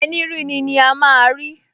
Ẹní ríni ni a máa rí!